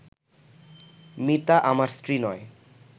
মিতা আমার স্ত্রী নয়